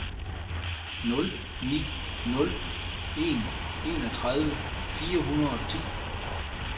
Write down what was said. nul ni nul en enogtredive fire hundrede og ti